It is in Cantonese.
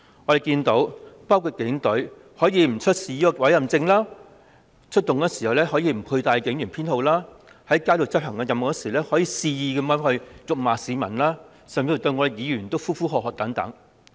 我們看到警隊可以不出示委任證、出勤時無須展示警員編號、在街上執行任務時肆意辱罵市民甚至喝罵議員。